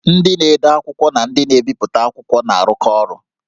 Ndị na-ede akwụkwọ na ndị na-ebipụta akwụkwọ na-arụkọ ọrụ